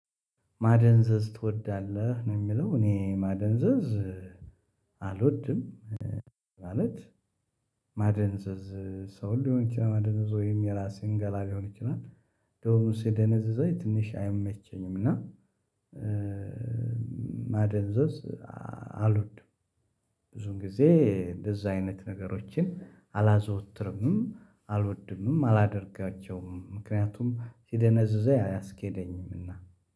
ማደንዘዝ ትወዳለህ ነው? የሚለው እኔ ማደንዘዝ አልወድም ማለት ማደንዘዝ ሰው ሊሆን ይችላል ማደንዘዝ ወይም የራሴን ገላ ሊሆን ይችላል። እንደዉም ሲደነዝዛ ትንሽ አይመቸኝም እና ማደንዘዝ አልወድም። ብዙ ጊዜ እንደዛ አይነት ነገሮችን አላዘወትርምም አልወድምም አላደርጋቸውም ምክንያቱም ሲደነዝዘው አያስኬደኝም እና።